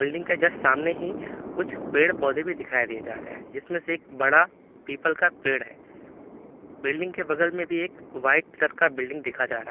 building के just सामने ही कुछ पेड़ पौधे भी दिखाई दिए जा रहे हैं जिसमें से एक बड़ा पीपल का पेड़ है बिल्डिंग के बगल में भी एक वाइट कलर का बिल्डिंग देखा जा रहा--